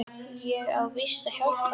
Ég á víst að hjálpa þér.